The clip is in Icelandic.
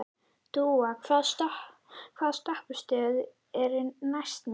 Dúa, hvaða stoppistöð er næst mér?